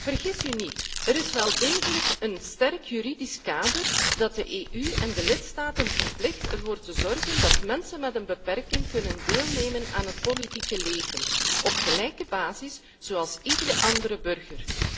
Vergis u niet, er is wel degelijk een sterk juridisch kader dat de EU en de lidstaten verplicht ervoor te zorgen dat mensen met een beperking kunnen deelnemen aan het politieke leven op gelijke basis zoals iedere andere burger.